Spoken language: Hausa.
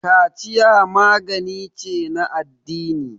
kaciya magani ce na addini